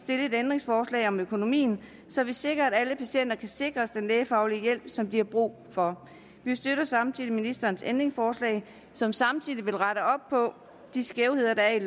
et ændringsforslag om økonomien så vi sikrer at alle patienter kan sikres den lægefaglige hjælp som de har brug for vi støtter samtidig ministerens ændringsforslag som samtidig vil rette op på de skævheder der er